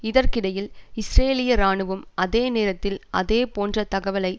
இதற்கிடையில் இஸ்ரேலிய இராணுவம் அதே நேரத்தில் அதேபோன்ற தகவலை